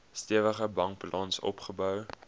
stewige bankbalans opgebou